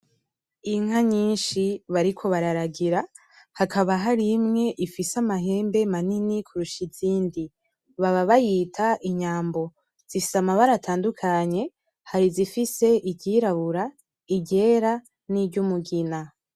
Inka nyinshi bariko bararagira hakaba hari imwe ifise amahembe manini kurusha izindi baba bayita inyambo , zifise amabara atandukanye hari izifise iryirabura, iryera niryumugina.